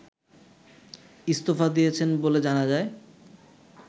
ইস্তফা দিয়েছেন বলে জানা যায়